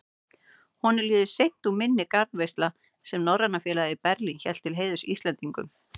Honum líður seint úr minni garðveisla, sem Norræna félagið í Berlín hélt til heiðurs Íslendingunum.